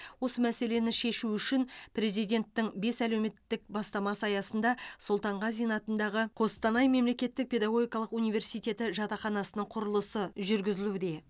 осы мәселені шешу үшін президенттің бес әлеуметтік бастамасы аясында сұлтанғазин атындағы қостанай мемлекеттік педагогикалық университеті жатақханасының құрылысы жүргізілуде